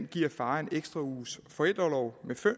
giver faren en ekstra uges forældreorlov